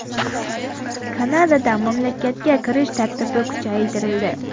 Kanadada mamlakatga kirish tartibi kuchaytirildi.